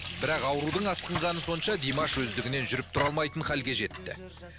бірақ аурудың асқынғаны сонша димаш өздігінен жүріп тұра алмайтын халге жетті